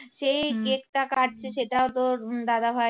সেই কেকটা কাটছে সেটাও তোর উম দাদাভাই